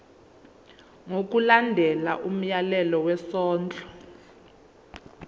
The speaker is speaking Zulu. ngokulandela umyalelo wesondlo